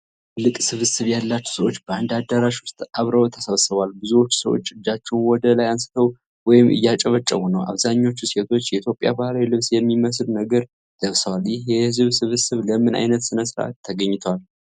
ትልቅ ስብስብ ያላቸው ሰዎች በአንድ አዳራሽ ውስጥ አብረው ተሰብስበዋል። ብዙዎቹ ሰዎች እጃቸውን ወደ ላይ አንስተው ወይም እያጨበጨቡ ነው። አብዛኛዎቹ ሴቶች የኢትዮጵያን ባህላዊ ልብስ የሚመስል ነገር ለብሰዋል። ይህ የህዝብ ስብስብ ለምን አይነት ሥነ-ሥርዓት ተገናኝቷል?